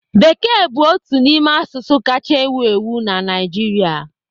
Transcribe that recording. Bekee bụ otu n'ime asụsụ kacha ewu ewu na Naịjirịa.